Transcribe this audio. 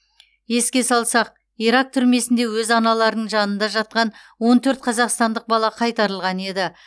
еске салсақ ирак түрмесінде өз аналарының жанында жатқан он төрт қазақстандық бала қайтарылған еді